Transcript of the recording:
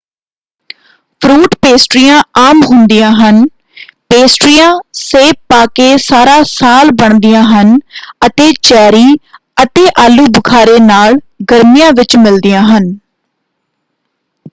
Fruit ਪੇਸਟਰੀਆਂ ਆਮ ਹੁੰਦੀਆਂ ਹਨ ਪੇਸਟਰੀਆਂ ਸੇਬ ਪਾ ਕੇ ਸਾਰਾ ਸਾਲ ਬਣਦੀਆਂ ਹਨ ਅਤੇ ਚੈਰੀ ਅਤੇ ਆਲੂ-ਬੁਖ਼ਾਰੇ ਨਾਲ ਗਰਮੀਆਂ ਵਿੱਚ ਮਿਲਦੀਆਂ ਹਨ।